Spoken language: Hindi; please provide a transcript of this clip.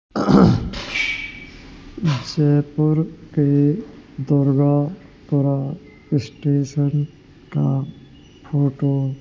जयपुर के दुर्गापुरा स्टेशन का फोटो --